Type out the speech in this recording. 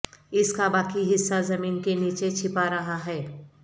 اس کا باقی حصہ زمین کے نیچے چھپا رہا ہے